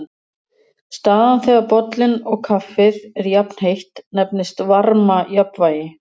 Staðan þegar bollinn og kaffið er jafnheitt nefnist varmajafnvægi.